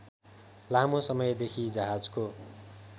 लामो समयदेखि जहाजको